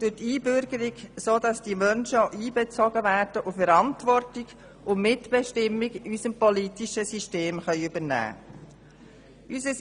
Durch die Einbürgerung werden diese Menschen einbezogen und können Verantwortung und Mitbestimmung in unserem politischen System übernehmen.